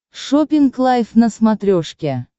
шоппинг лайф на смотрешке